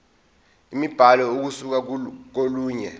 imibhalo ukusuka kolunye